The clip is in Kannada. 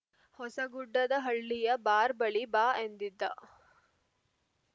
ಹೊಸಗುಡ್ಡದಹಳ್ಳಿಯ ಬಾರ್‌ ಬಳಿ ಬಾ ಎಂದಿದ್ದ